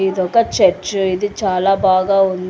ఇది ఒక చెర్చు . ఇది చాలా బాగా ఉంది.